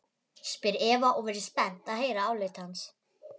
spyr Eva og virðist spennt að heyra álit hans.